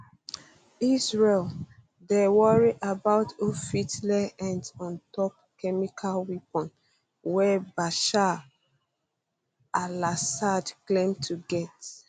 israel um dey worry about who fit lay hands ontop chemical weapons wey bashar um alassad claim to get